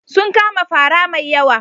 Sun kama fara mai yawa.